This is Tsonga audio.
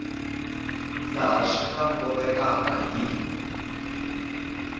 laha swi nga kotekaka hi